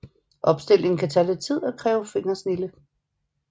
Opstillingen kan tage lidt tid og kræver lidt fingersnilde